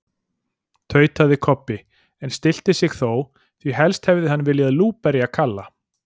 tautaði Kobbi, en stillti sig þó, því helst hefði hann viljað lúberja Kalla.